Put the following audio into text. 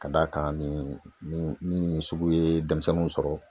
Ka d'a kan nin nin nin nin sugu ye denmisɛnnunw sɔrɔ